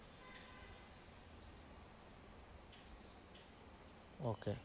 okay